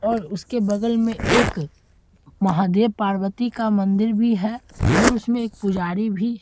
और उसके बगल में एक महादेव-पार्वती का मंदिर भी है और उसमें एक पुजारी भी --